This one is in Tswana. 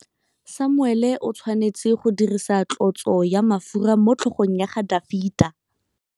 Samuele o tshwanetse go dirisa tlotsô ya mafura motlhôgong ya Dafita.